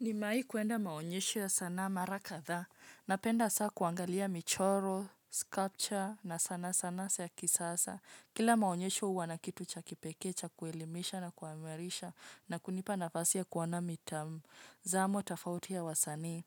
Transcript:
Nimewahi kwenda maonyesho ya sanaa mara kadhaa. Napenda sana kuangalia michoro, sculpture na sana sana za kisasa. Kila maonyesho huwa na kitu cha kipekee cha kuelimisha na kuimarisha na kunipa nafasi ya kuona mitazamo tofauti ya wasanii.